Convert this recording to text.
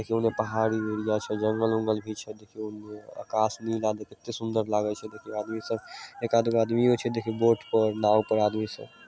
ओने पहाड़ी एरिया छेजंगल उंगल भी छे दू तीन गो आकाश नीला देख केते सुन्दर लागि छे। देखे आदमी सब एकाद गो आदमियों छे देखे बोट पर नाव पर आदमी सब --